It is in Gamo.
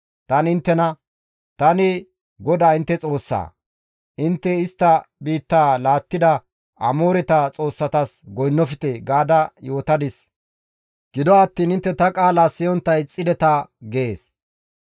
Tani inttena, ‹Tani GODAA intte Xoossaa; intte istta biittaa laattida Amooreta xoossatas goynnofte› gaada yootadis; gido attiin intte ta qaala siyontta ixxideta» gees.